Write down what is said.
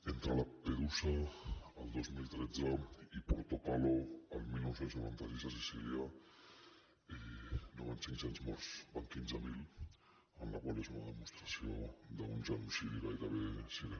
entre lampedusa el dos mil tretze i portopalo el dinou noranta sis a sicília no van cinccents morts en van quinze mil la qual cosa és una demostració d’un genocidi gairebé silent